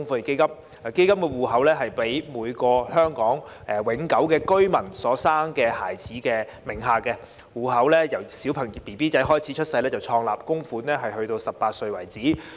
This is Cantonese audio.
基金戶口設在每名香港永久性居民所生的孩子名下，戶口自嬰兒出生後便創立，供款至18歲為止。